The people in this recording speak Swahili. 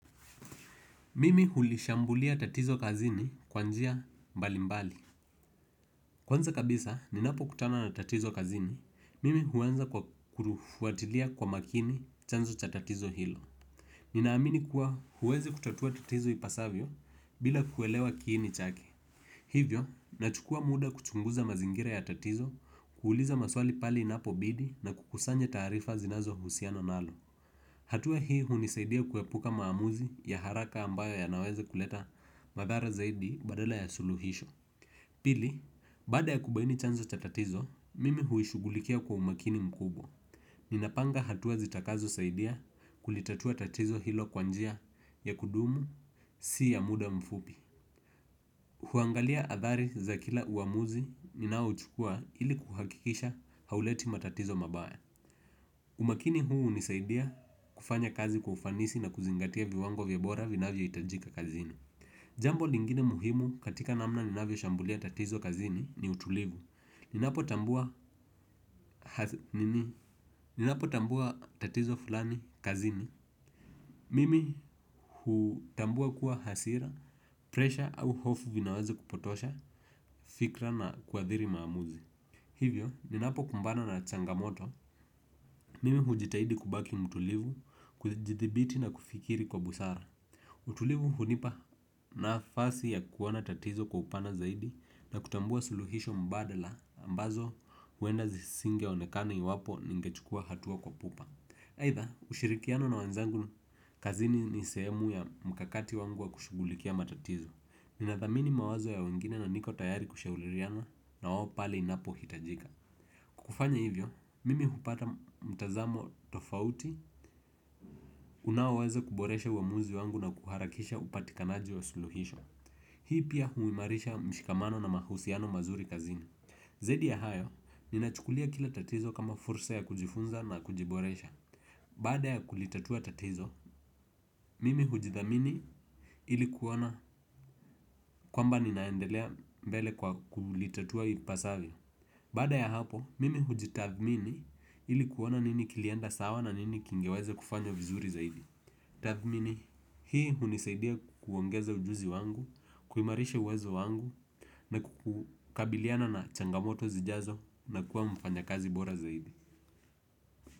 Mimi hulishambulia tatizo kazini kwa njia mbali mbali. Kwanza kabisa, ninapo kutana na tatizo kazini, mimi huanza kwa kurufuatilia kwa makini chanzo cha tatizo hilo. Ninaamini kuwa huwezi kutatua tatizo ipasavyo bila kuelewa kini chake. Hivyo, nachukua muda kuchunguza mazingira ya tatizo, kuuliza maswali pali inapo bidi na kukusanya taarifa zinazo husiana nalo. Hatua hii hunisaidia kuepuka maamuzi ya haraka ambayo yanaweza kuleta madhara zaidi badala ya suluhisho. Pili, baada ya kubaini chanzo cha tatizo, mimi huishugulikia kwa umakini mkubwa. Ninapanga hatua zitakazo saidia kulitatua tatizo hilo kwa njia ya kudumu si ya muda mfupi. Huangalia athari za kila uamuzi ninao chukua ili kuhakikisha hauleti matatizo mabaya. Umakini huu hunisaidia kufanya kazi kwa ufanisi na kuzingatia viwango vya ubora vinayoitajika kazini. Jambo lingine muhimu katika namna ninavyo shambulia tatizo kazini ni utulivu. Ninapo tambua tatizo fulani kazini. Mimi hutambua kuwa hasira presha au hofu vinaweza kupotosha fikra na kuathiri maamuzi. Hivyo, ninapo kumbana na changamoto, mimi hujitahidi kubaki mtulivu, kujidhibiti na kufikiri kwa busara. Utulivu hunipa nafasi ya kuona tatizo kwa upana zaidi na kutambua suluhisho mbadala ambazo uenda zisingeonekana iwapo ningechukua hatua kwa pupa. Aitha, ushirikiano na wanzangu, kazini ni sehemu ya mkakati wangu wa kushugulikia matatizo. Ninathamini mawazo ya wengine na niko tayari kushauliriana nawo pale inapo hitajika. Kufanya hivyo, mimi hupata mtazamo tofauti, unaoweza kuboresha uamuzi wangu na kuharakisha upatikanaji wa suluhisho. Hii pia huimarisha mshikamano na mahusiano mazuri kazini. Zaidi ya hayo, ninachukulia kila tatizo kama fursa ya kujifunza na kujiboresha. Baada ya kulitatua tatizo, mimi hujithamini ilikuona kwamba ninaendelea mbele kwa kulitatua ipasavyo. Baada ya hapo, mimi hujitathmini ilikuona nini kilienda sawa na nini kingeweza kufanywa vizuri zaidi. Tathmini, hii hunisaidia kuongeza ujuzi wangu, kuimarisha uwezo wangu, na kukabiliana na changamoto zijazo na kuwa mfanyakazi bora zaidi.